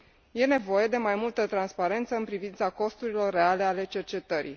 Este nevoie de mai multă transparență în privința costurilor reale ale cercetării.